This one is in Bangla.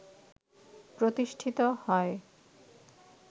প্রতিষ্ঠিত হয়